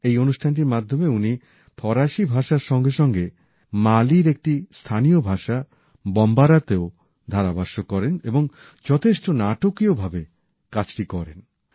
এই অনুষ্ঠানটির মাধ্যমে উনি ফরাসি ভাষার সঙ্গে সঙ্গে মালির একটি স্থানীয় ভাষা বম্বারাতেও ধারাভাষ্য করেন এবং যথেষ্ট নাটকীয় ভাবে অনুষ্ঠানটি করেন